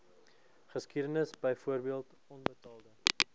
geskiedenis byvoorbeeld onbetaalde